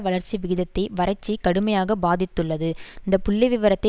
வளர்ச்சி விகிதத்தை வறட்சி கடுமையாக பாதித்துள்ளது இந்த புள்ளி விவரத்தை